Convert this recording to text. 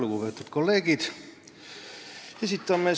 Lugupeetud kolleegid!